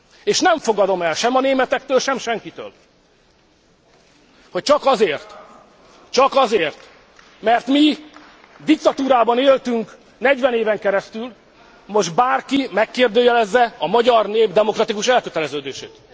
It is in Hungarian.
És nem fogadom el sem a németektől, sem senkitől, hogy csak azért, mert mi diktatúrában éltünk 40 éven keresztül, most bárki megkérdőjelezze a magyar nép demokratikus elköteleződését.